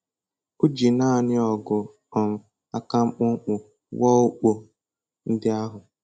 O ji nanị ọgụ um aka mkpụmkpụ wuo ukpo ndị ahụ.